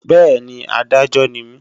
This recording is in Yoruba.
Bẹ́ẹ̀ni, Adájọ́ ni mí